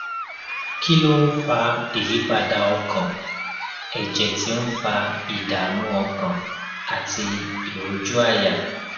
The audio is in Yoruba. kí ló ń fa ìyípadà ọkàn èjè tí ń fa ìdààmú ọkàn àti ìrójú àyà